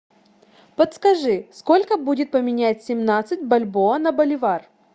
подскажи сколько будет поменять семнадцать бальбоа на боливар